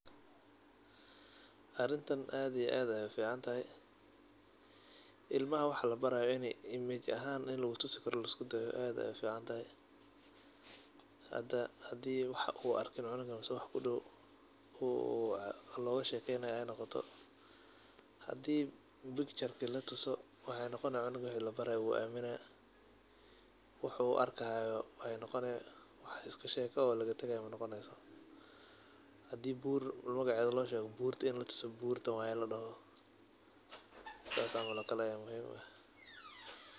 Arintan aad iyo aad ayaay u ficaantahay. Ilmaha wax la baraayo in ay image ahaan in lugu tusi karo laisku dayo aad ayaay u ficaantahay. Hada hadii wax uu arkin cunugan mise wax ku dhow loogu sheekeynaayo ay noqoto. Hadii pikcharki la tuso, waxay noqoni cunugan wixii labara wuu aamina. Wax uu arkahaayo ay noqoni. Wax iska sheeko waa laga tagaa ma noqonayso. Hadii buur magaceeda loo sheego buurta in la tuso buurtan waay ladhaho saas camal oo kale ayaa muhiim u eh.